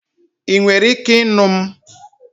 Ị nwere ike ịnụ m?